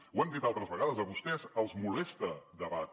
ho hem dit altres vegades a vostès els molesta debatre